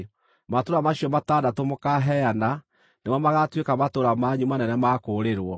Matũũra macio matandatũ mũkaaheana nĩmo magaatuĩka matũũra manyu manene ma kũũrĩrwo.